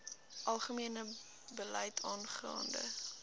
algemene beleid aangaande